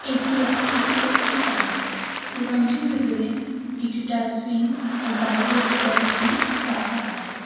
এটি একটি দুকান দুকানটির ভেতরে একটি ডাস্টবিন ও বাইরে একটি ডাস্টবিন রাখা আছে।